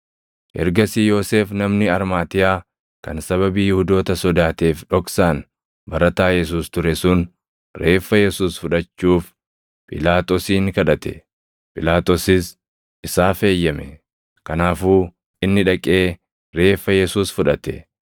Ergasii Yoosef namni Armaatiyaa kan sababii Yihuudoota sodaateef dhoksaan barataa Yesuus ture sun reeffa Yesuus fudhachuuf Phiilaaxoosin kadhate. Phiilaaxoosis isaaf eeyyame; kanaafuu inni dhaqee reeffa Yesuus fudhate.